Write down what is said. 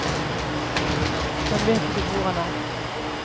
Han vet ikke hvor han er.